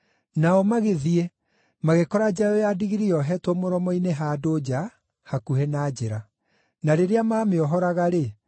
Nao magĩthiĩ magĩkora njaũ ya ndigiri yohetwo mũromo-inĩ handũ nja, hakuhĩ na njĩra. Na rĩrĩa maamĩohoraga-rĩ,